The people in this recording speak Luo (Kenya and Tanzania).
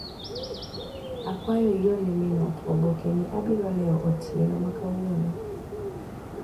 Akwayo iorne min ot oboke ni abiro leo otieno makawuono.